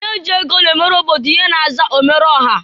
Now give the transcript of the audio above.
Onye ji ego na-emere obodo ihe na-aza omereọha.